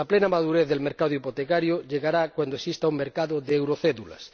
La plena madurez del mercado hipotecario llegará cuando exista un mercado de eurocédulas.